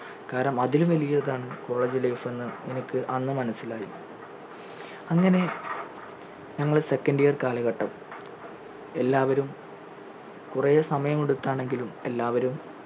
കാരണം അതിലും വലിയതാണ് college life എന്ന് എനിക്ക് അന്ന് മനസിലായി അങ്ങനെ ഞങ്ങളെ second year കാലഘട്ടം എല്ലാവരും കുറേ സമയം എടുത്താണെങ്കിലും എല്ലാവരും